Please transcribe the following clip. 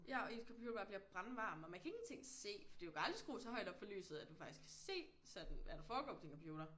Ja og ens computer bare bliver brandvarm og man kan ingenting se fordi du kan aldrig skrue så højt op for lyset at du faktisk kan se sådan hvad der foregår på din computer